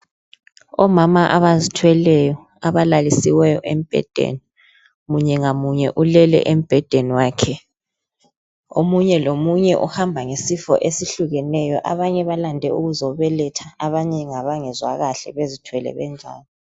Omama abazithweleyo abalalisiweyo embhedeni. Munye ngamunye ulele embhedeni wakhe. Omunye lomunye uhamba ngesifo esihlukehlukeneyo. Abanye balande ukuzobeletha abanye ngabangezwa kahle bezithwele benjalo.